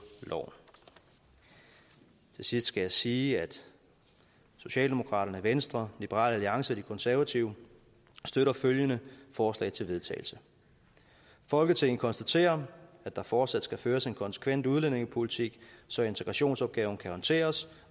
loven til sidst skal jeg sige at socialdemokraterne venstre liberal alliance og de konservative støtter følgende forslag til vedtagelse folketinget konstaterer at der fortsat skal føres en konsekvent udlændingepolitik så integrationsopgaven kan håndteres